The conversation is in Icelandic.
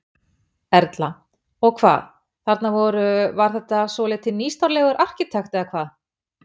Erla: Og hvað, þarna voru, var þetta svolítið nýstárlegur arkitekt, eða hvað?